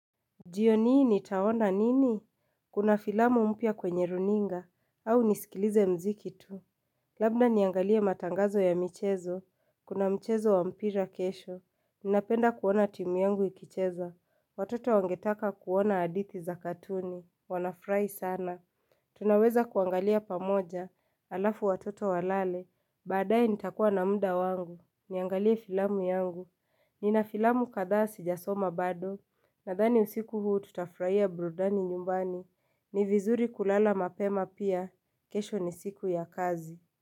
Jioni hii nitaona nini? Kuna filamu mpya kwenye runinga. Au nisikilize mziki tu. Labda niangalie matangazo ya michezo. Kuna mchezo wa mpira kesho. Ninapenda kuona timu yangu ikicheza. Watoto wangetaka kuona hadithi za katuni. Wanafurahi sana. Tunaweza kuangalia pamoja. Alafu watoto walale. Baadaye nitakuwa na muda wangu, niangalie filamu yangu. Nina filamu kadhaa sijasoma bado. Nadhani usiku huu tutafurahia burudani nyumbani. Ni vizuri kulala mapema pia. Kesho ni siku ya kazi.